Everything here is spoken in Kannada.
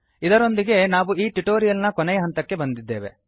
ಇದರೊಂದಿಗೆ ಈಗ ನಾವು ಈ ಟ್ಯುಟೋರಿಯಲ್ ನ ಕೊನೆಯ ಹಂತಕ್ಕೆ ಬಂದಿದ್ದೇವೆ